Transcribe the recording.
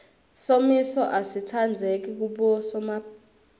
somiso asitsandzeki kubosomapulazi